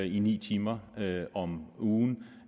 i ni timer om ugen